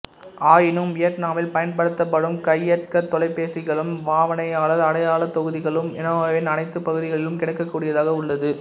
ஆயினும் வியட்நாமில் பயன்படுத்தப்படும் கையடக்கத்தொலைபேசிகளும் பாவனையாளர் அடையாளத் தொகுதிகளும் ஹனோயின் அனைத்துப் பகுதிகளிலும் கிடைக்கக்கூடியதாக உள்ளது